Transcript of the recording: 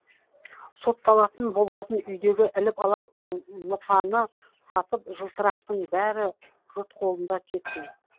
сотталатын болғасын үйдегі іліп алар лыпаны сатып жылтырақтың бәрі жұрт қолында кетсін